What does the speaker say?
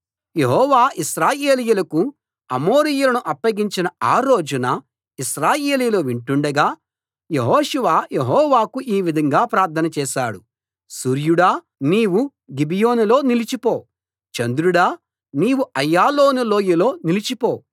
యెహోవా ఇశ్రాయేలీయులకు అమోరీయులను అప్పగించిన ఆ రోజున ఇశ్రాయేలీయులు వింటుండగా యెహోషువ యెహోవాకు ఈ విధంగా ప్రార్థన చేశాడు సూర్యుడా నీవు గిబియోనులో నిలిచిపో చంద్రుడా నీవు అయ్యాలోను లోయలో నిలిచిపో